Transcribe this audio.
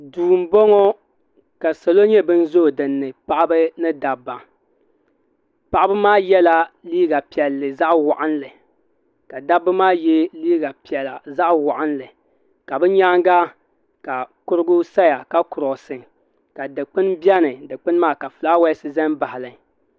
do n bɔŋɔ ka salo nyɛ bɛn zoyi dini paɣ' ba ni da ba paɣ' maa yɛla liga piɛli zaɣ waɣilinli ka da ba maa yɛ liga piɛla zaɣiwalinli ka be nyɛŋa ka kurigu saa ka kurosi ka di kpɛni bɛni ka di kpɛni maa ka ƒɔlawasi zan baɣili